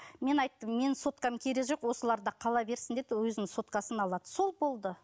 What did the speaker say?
мен айттым менің соткам керегі жоқ осыларда қала берсін деп өзінің соткасын алады сол болды